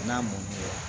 N'a mɔn